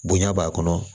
Bonya b'a kɔnɔ